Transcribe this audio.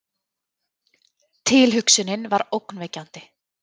Tilhugsunin var ógnvekjandi.